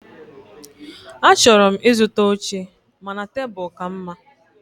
Achọrọ m ịzụta oche mana tebụl ka mma.